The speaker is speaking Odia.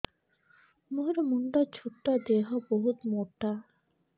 ମୋର ମୁଣ୍ଡ ଛୋଟ ଦେହ ବହୁତ ମୋଟା